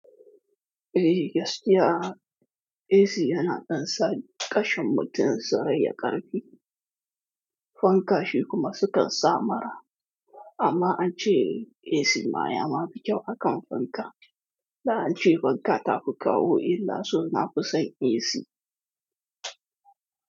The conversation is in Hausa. Eh, gaskiya AC yana ɗan sa ƙashin mutum sarai ya ƙarfi, fanka shi kuma sukan sa mara. Amma an ce AC ma ya ma fi kyau hakan fanka. Da an ce fanka ta fi kawo illa so na fi son AC.